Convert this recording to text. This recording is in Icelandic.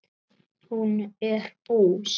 Hún er bús.